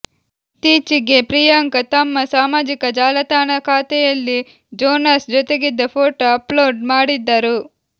ಇತ್ತೀಚಿಗೆ ಪ್ರಿಯಾಂಕ ತಮ್ಮ ಸಾಮಾಜಿಕ ಜಾಲತಾಣ ಖಾತೆಯಲ್ಲಿ ಜೋನಾಸ್ ಜೊತೆಗಿದ್ದ ಫೋಟೊ ಅಪ್ ಲೋಡ್ ಮಾಡಿದ್ದರು